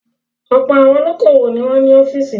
Ọ̀pọ̀ àwọn olókòwò ni wọ́n ní ọ́fíísì.